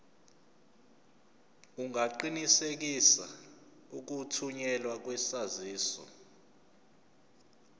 ungaqinisekisa ukuthunyelwa kwesaziso